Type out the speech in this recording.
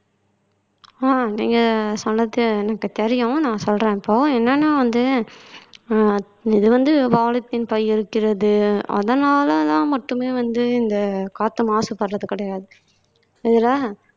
ஆஹ் நீங்க சொன்னது எனக்கு தெரியும் நான் சொல்றேன் இப்போ என்னன்னா வந்து இது வந்து polythene பை இருக்கிறது அதனாலெல்லாம் மட்டுமே வந்து இந்த காத்து மாசுபடறது கிடையாது இதுல